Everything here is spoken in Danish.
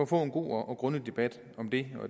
få en god og grundig debat om det